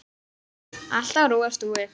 Allt á rúi og stúi.